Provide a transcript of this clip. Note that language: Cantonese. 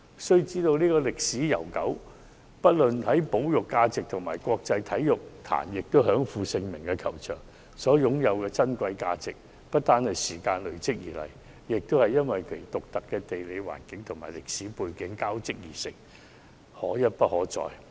須知道，這個球場歷史悠久，深具保育價值，在國際體壇又享負盛名，其擁有的珍貴價值不單是由時間累積而來，也是因為其獨特的地理環境和歷史背景交織而成，可一不可再。